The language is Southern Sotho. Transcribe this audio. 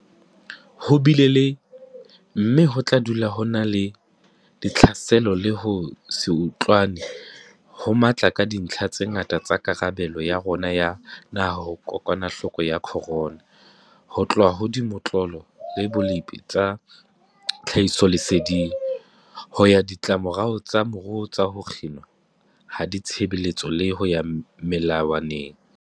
Ho bile le, mme ho tla dula ho na le, ditlhaselo le ho se utlwane ho matla ka dintlha tse ngata tsa karabelo ya rona ya naha ho kokwanahloko ya corona, ho tloha ho dimotlolo le bolepi tsa tlhahisoleseding, ho ya ho ditlamorao tsa moruo tsa ho kginwa ha ditshebeletso le ho ya melawaneng.